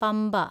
Pamba